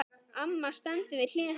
Amma stendur við hlið hans.